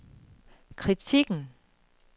kritikken